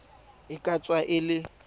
e ka tswa e le